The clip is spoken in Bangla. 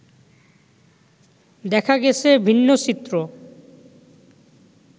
দেখা গেছে ভিন্ন চিত্র